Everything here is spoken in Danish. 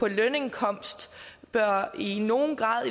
lønindkomst i nogen grad